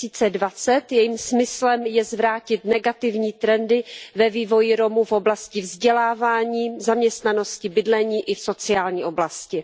2020. Jejím smyslem je zvrátit negativní trendy ve vývoji Romů v oblasti vzdělávání, zaměstnanosti, bydlení i sociální oblasti.